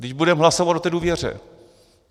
Vždyť budeme hlasovat o té důvěře!